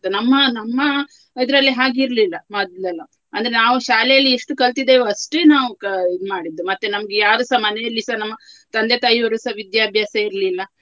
ನಮ್ಮ ನಮ್ಮ ಇದ್ರಲ್ಲಿ ಹಾಗೆ ಇರ್ಲಿಲ್ಲ ಮೊದ್ಲೆಲ್ಲಾ ಅಂದ್ರೆ ನಾವು ಶಾಲೆಯಲ್ಲಿ ಎಷ್ಟು ಕಲ್ತಿದ್ದೇವೆ ಅಷ್ಟೇ ನಾವು ಕ~ ಇದ್ ಮಾಡಿದ್ದು ಮತ್ತೆ ನಮ್ಗೆ ಯಾರುಸ ಮನೆಯಲ್ಲಿಸ ನಮ್ಮ ತಂದೆ ತಾಯಿಯವರುಸ ವಿಧ್ಯಾಭ್ಯಾಸ ಇರ್ಲಿಲ್ಲ.